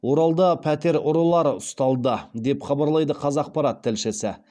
оралда пәтер ұрылары ұсталды деп хабарлайды қазақпарат тілшісі